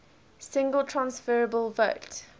single transferable vote